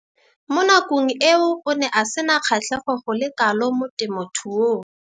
Mo nakong eo o ne a sena kgatlhego go le kalo mo temothuong.